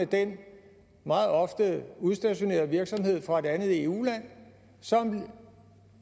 den meget ofte udstationerede virksomhed fra et andet eu land som